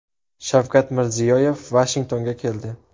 Shavkat Mirziyoyev Vashingtonga keldi .